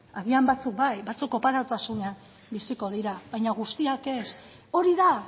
agian batzuk bai batzuk oparotasunean biziko dira baina guztiak ez hori da